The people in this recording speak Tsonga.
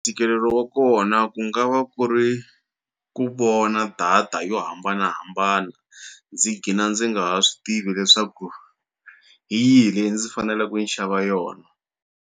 Ntikelelo wa kona ku nga va ku ri ku vona data yo hambanahambana ndzi gina ndzi nga ha swi tivi leswaku hi yihi leyi ndzi faneleku ni xava yona.